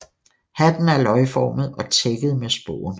Hatten er løgformet og tækket med spån